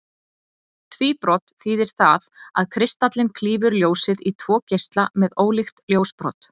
Tvíbrot þýðir það að kristallinn klýfur ljósið í tvo geisla með ólíkt ljósbrot.